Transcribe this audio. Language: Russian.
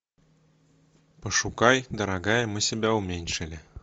пошукай дорогая мы себя уменьшили